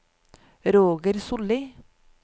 Roger Sollie